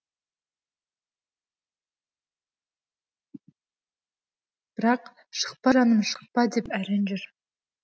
бірақ шықпа жаным шықпа деп әрең жүр